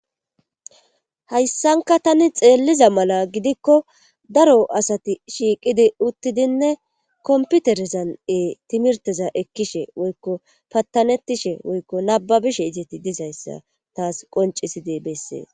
hayssanka tani xeelliza mala gidikko daro asati shiiqidi uttidinne komputerezan7ee timirteza ekkishe woykko pattanettishe woykko nababishe izeti dizayssa taas qoncisi deebessee